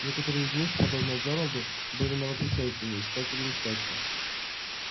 некоторые из них подобно джералду были новопришельцами искателями счастья